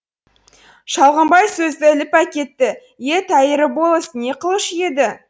шалғымбай сөзді іліп әкетті е тәйірі болыс не қылушы еді